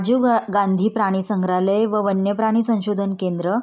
जीव गांधी प्राणी संग्रहालय व वन्य प्राणी संशोधन केंद्र--